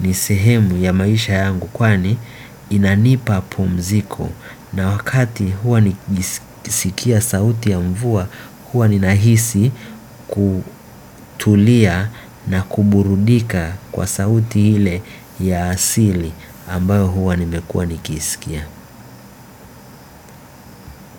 ni sehemu ya maisha yangu kwani inanipa pumziko. Na wakati huwa nikisikia sauti ya mvua huwa ninahisi kutulia na kuburudika kwa sauti ile ya asili ambayo huwa nimekua nikisikia.